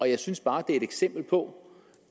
jeg synes bare at det er et eksempel på